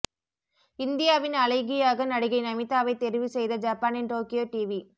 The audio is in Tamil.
இந்தியாவின் அழகியாக நடிகை நமீதாவை தெரிவு செய்த ஜப்பானின் டோக்கியோ டிவி